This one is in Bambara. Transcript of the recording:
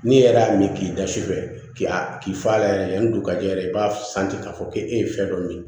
Ne yɛrɛ y'a min k'i da sufɛ k'a k'i fa la yɛrɛ yanni dukajɛ yɛrɛ i b'a santi k'a fɔ k'e ye fɛn dɔ min